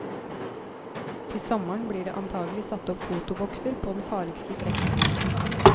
Til sommeren blir det antagelig satt opp fotobokser på den farligste strekningen.